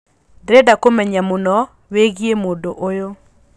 ndĩreda kũmenya mũno wĩigie mũndũ ũyũ